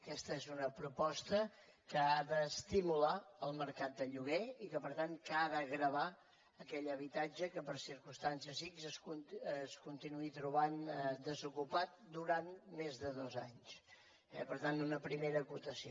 aquesta és una proposta que ha d’estimular el mercat de lloguer i que per tant ha de gravar aquell habitatge que per circumstàncies ics es continuï trobant desocupat durant més de dos anys eh per tant una primera acotació